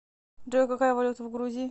джой какая валюта в грузии